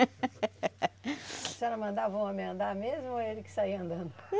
A senhora mandava o homem andar mesmo ou ele que saía andando?